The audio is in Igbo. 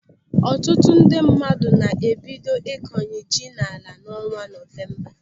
Ọtụtụ ndị mmadụ na-ebido ịkọnye ji n'ala n'ọnwa Nọvemba.